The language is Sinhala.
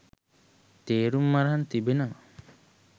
තේරුම් අරන් තිබෙනවා